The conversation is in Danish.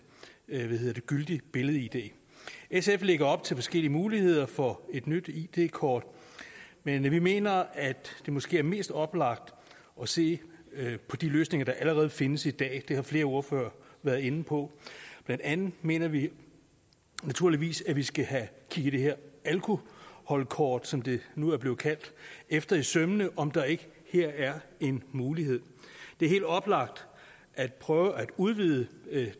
gyldig billed id sf lægger op til forskellige muligheder for et nyt id kort men vi mener at det måske er mest oplagt at se på de løsninger der allerede findes i dag det har flere ordførere været inde på blandt andet mener vi naturligvis at vi skal have kigget det her alkoholkort som det nu er blevet kaldt efter i sømmene om der ikke her er en mulighed det er helt oplagt at prøve at udvide